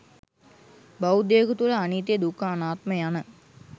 බෞද්ධයකු තුළ අනිත්‍ය, දුක්ඛ, අනාත්ම යන